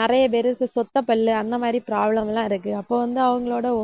நிறைய பேருக்கு, சொத்தைப் பல்லு அந்த மாதிரி problem எல்லாம் இருக்கு. அப்ப வந்து அவங்களோட